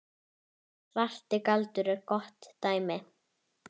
Svarti galdur er gott dæmi.